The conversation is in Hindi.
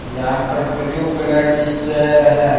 यहां पर ब्ल्यू कलर की चेयर है।